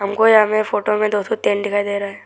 हमको यहां पे फोटो में दो ठो टेंट दिखाई दे रहा है।